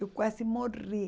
Eu quase morri.